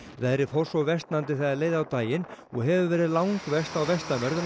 veðrið fór svo versnandi þegar leið á daginn og hefur verið langverst á vestanverðu